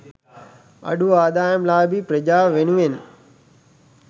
අඩු ආදායම්ලාභී ප්‍රජාව වෙනුවෙන්